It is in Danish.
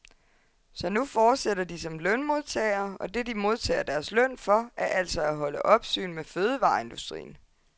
Så nu fortsætter de som lønmodtagere, og det, de modtager deres løn for, er altså at holde opsyn med fødevareindustrien.